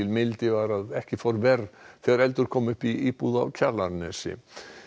mildi var að ekki fór verr þegar eldur kom upp í íbúð á Kjalarnesi